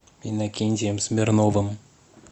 иннокентием смирновым